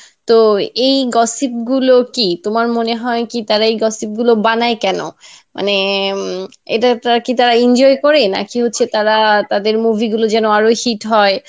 তো এই gossip গুলো কি তোমার মনে হয় কি তারা এই gossip গুলো বানায় কেন? মানে উম এটা কি তারা একটা enjoy করে নাকি হচ্ছে তারা তাদের movie গুলো যেন আরো hit হয়